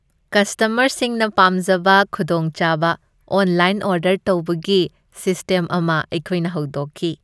ꯀꯁꯇꯃꯔꯁꯤꯡꯅ ꯄꯥꯝꯖꯕ ꯈꯨꯗꯣꯡꯆꯥꯕ ꯑꯣꯟꯂꯥꯏꯟ ꯑꯣꯔꯗꯔ ꯇꯧꯕꯒꯤ ꯁꯤꯁ꯭ꯇꯦꯝ ꯑꯃ ꯑꯩꯈꯣꯏꯅ ꯍꯧꯗꯣꯛꯈꯤ ꯫